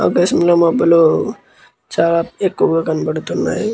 ఆకాశం లో మబులు చాల ఎక్కువ కనిపిస్తునై.